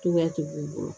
Cogoya tɛ b'u bolo